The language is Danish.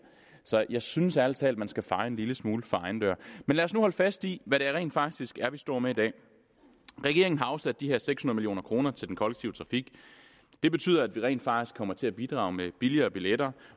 så jeg synes ærlig talt man skal feje en lille smule for egen dør men lad os nu holde fast i hvad det rent faktisk er vi står med i dag regeringen har afsat de her seks hundrede million kroner til den kollektive trafik det betyder at vi rent faktisk kommer til at bidrage med billigere billetter